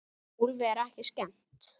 Úlfi er ekki skemmt.